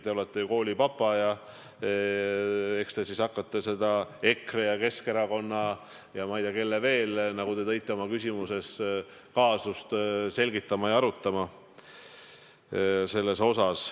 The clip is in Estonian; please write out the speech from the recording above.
Te olete ju koolipapa ja eks te siis hakkate seda EKRE, Keskerakonna ja ma ei tea, kelle veel, nagu te ütlesite oma küsimuses, kaasust selgitama ja seda arutama.